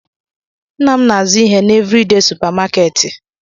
Nna m na-azụ ihe n'Evridee supamakeeti.